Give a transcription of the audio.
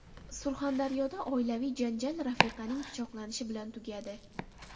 Surxondaryoda oilaviy janjal rafiqaning pichoqlanishi bilan tugadi.